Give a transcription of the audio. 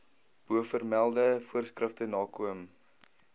bovermelde voorskrifte nakom